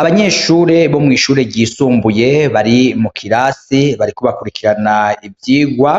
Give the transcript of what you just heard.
Abanyeshure bo mw'ishure ryisumbuye bari mu kirasi barikobakurikirana ivyigwa